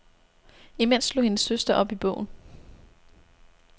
Imens slog hendes søster op i bogen.